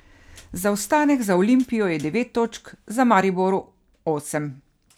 Zaostanek za Olimpijo je devet točk, za Mariborom osem.